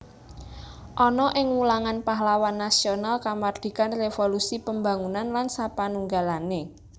Ana ing wulangan pahlawan nasional kamardikan revolusi pembangunan lan sapanunggalane